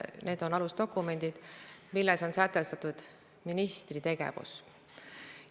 See on alusdokument, milles on sätestatud ministri tegevus.